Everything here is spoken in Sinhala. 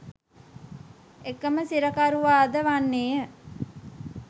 එකම සිරකරුවාද වන්නේය